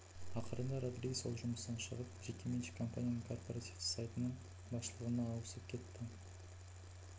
ақырында родригес ол жұмыстан шығып жекеменшік компанияның корпоративті сайтының басшылығына ауысып кетті